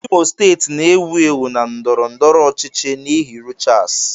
Imo steeti na-ewu ewu na ndọrọ ndọrọ ọchịchị n'ihi Rochas.